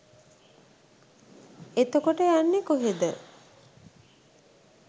එතකොට යන්නේ කොහේද